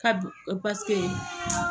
Kab paseke